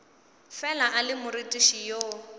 fela a le morutiši yo